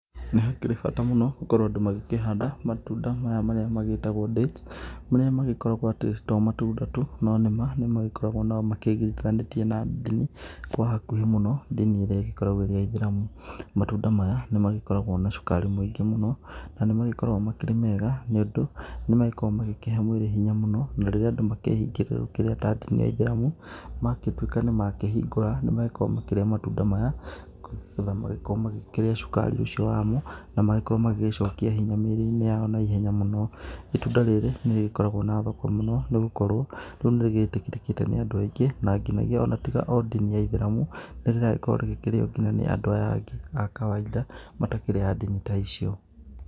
Nĩgũkĩrĩ bata mũno gũkorwo andũ magĩkĩhanda matunda maya marĩa magĩtagwo dates. Marĩa magĩkoragwo atĩ to matunda tu no nĩ magĩkoragwo magĩigĩranĩtie na ndini kwa hakuhĩ mũno ndini ĩrĩa ĩgĩkoragwo ĩrĩ ya ithĩramu. Matunda maya nĩ magĩkoragwo na cukari mũingĩ mũno na nĩ magĩkoragwo makĩrĩ mega, nĩ ũndũ nĩ magĩkoragwo makĩhe mwĩrĩ hinya mũno. Na rĩrĩa andũ makĩhingĩte gũkĩrĩa ta ndini ya ithĩramu, magĩtuĩka nĩ makĩhingũra nĩ makoragwo makĩrĩa matunda maya. Nĩ getha magĩkorwo makĩrĩa cukari ũcio wamo na magĩkorwo magĩgĩcokia hinya mĩrĩ-inĩ yao naihenya mũno. Itunda rĩrĩ nĩ rĩgĩkoragwo na thoko mũno, nĩ gũkorwo rĩu nĩrĩgĩtĩkĩrĩkĩte nĩ andũ aingĩ na nginagia ona tiga o ndini ya ithĩramu, nĩ rĩragĩkorwo rikĩrio nginya nĩ andũ aya angĩ a kawainda matakĩrĩ a ndini ta icio.